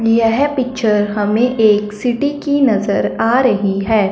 यह पिक्चर हमें एक सिटी की नजर आ रही है।